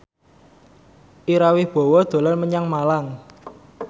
Ira Wibowo dolan menyang Malang